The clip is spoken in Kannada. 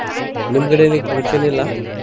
ನಿಮ್ಮ್ ಕಡೆ ಏನ್ ಈಗ function ಇಲ್ಲ?